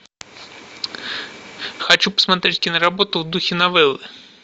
хочу посмотреть киноработу в духе новеллы